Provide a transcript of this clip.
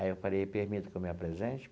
Aí eu falei, permita que eu me apresente?